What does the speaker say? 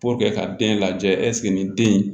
ka den lajɛ ɛseke nin den in